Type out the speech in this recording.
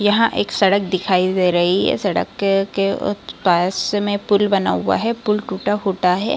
यहाँ एक सड़क दिखाई दे रही है। सड़क के के पास मे पुल बना हुआ है। पुल टूटा-फूटा है ।